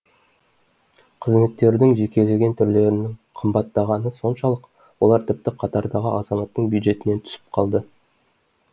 қызметтердің жекелеген түрлерінің қымбаттағаны соншалық олар тіпті қатардағы азаматтың бюджетінен түсіп қалды